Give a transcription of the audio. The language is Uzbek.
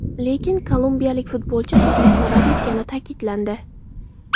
Lekin kolumbiyalik futbolchi taklifni rad etgani ta’kidlandi.